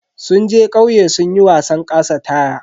Sun je kauye sunyi wasan ƙasa taya.